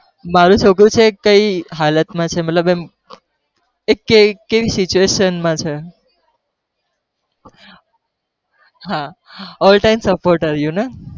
મારું છોકરું છે એ કઈ હાલત માં છે મતલબ એમ એ કેવી કેવી situation માં છે હા all time supporter you know